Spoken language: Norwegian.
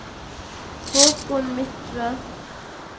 Haakon Midtbø